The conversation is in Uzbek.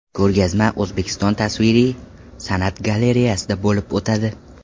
Ko‘rgazma O‘zbekiston tasviriy san’at galereyasida bo‘lib o‘tadi.